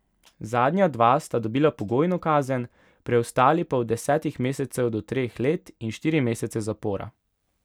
Zadnja dva sta dobila pogojno kazen, preostali pa od desetih mesecev do treh let in štiri mesece zapora.